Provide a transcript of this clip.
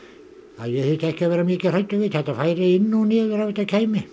að ég þyrfti ekki að vera mikið hræddur við þetta færi inn og niður ef þetta kæmi